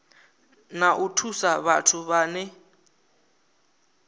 na u thusa vhathu vhane